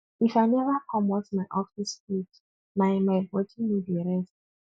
if i neva comot my office cloth my my bodi no dey rest